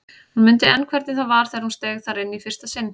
Hún mundi enn hvernig það var þegar hún steig þar inn í fyrsta sinn.